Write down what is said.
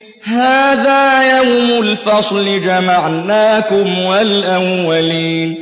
هَٰذَا يَوْمُ الْفَصْلِ ۖ جَمَعْنَاكُمْ وَالْأَوَّلِينَ